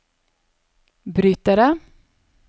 brytere